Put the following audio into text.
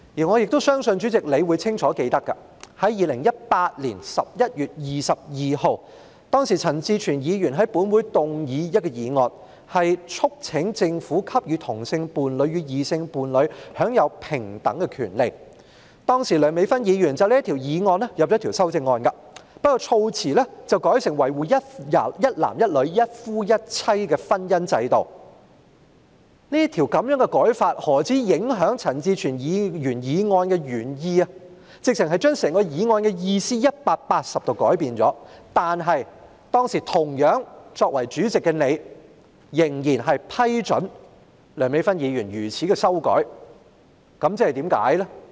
我相信主席亦清楚記得，在2018年11月22日，陳志全議員在本會動議一項議案，促請政府給予同性伴侶與異性伴侶享有平等的權利，當時梁美芬議員就這項議案提出修正案，但卻把措辭改為"一男一女"及"一夫一妻"的婚姻制度，此舉不單影響陳志全議員提出議案的原意，簡直是180度改變了議案的意思，但當時同樣作為主席的你，仍然批准梁美芬議員作出這樣的修訂，原因是甚麼呢？